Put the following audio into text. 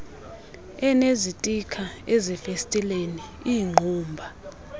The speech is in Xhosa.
enezitikha ezifestileni iingqumba